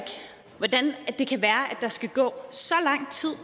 der skal gå så lang tid